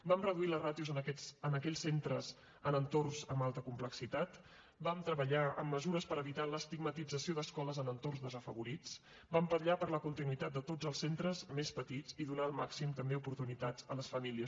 vam reduir les ràtios en aquells centres en entorns amb alta complexitat vam treballar en mesures per evitar l’estigmatització d’escoles en entorns desafavorits i vam vetllar per la continuïtat de tots els centres més petits i per donar el màxim també d’oportunitats a les famílies